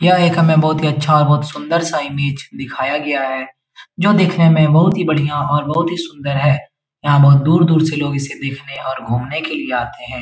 यह एक हमें बहुत ही अच्छा और सुन्दर सा इमेज दिखाया गया है जो दिखने में बहुत ही बढ़िया और बहुत ही सुन्दर है। यहाँ दूर- दूर से लोग इसे देखने और घूमने के लिए आते हैं।